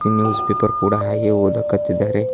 News paper ಕೂಡ ಹಾಗೆ ಓದಕತ್ತಿದ್ದಾರೆ.